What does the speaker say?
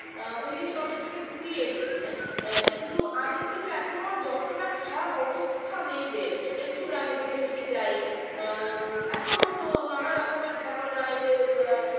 আ ওইদিকে নজরটাকে ঘুরিয়ে দিচ্ছে এ কিন্তু আদত ক্ষেত্রে এখনো যতটা খারাপ অবস্থা মেয়েদের একটু গ্রামের দিকে যদি যাই আ এখনো তো নানা রকমের ঘটনা এই যে আ